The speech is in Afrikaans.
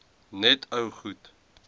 net ou goed